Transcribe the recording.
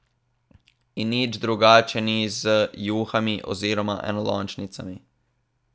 In nič drugače ni z juhami oziroma enolončnicami.